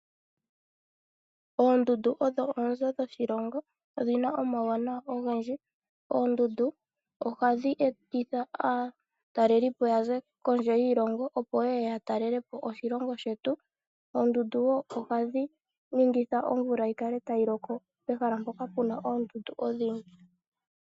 Oondundu odho oonzo dhoshilongo. odhina omawuwanawa ogendji. Oondundu ohadhi etitha aatalelipo opo yaze kondje yoshilongo opo yeye yatale lepo oshilongo shetu. Oondundu ohadhi ningitha yi loke mpoka puna oondundu odhindji.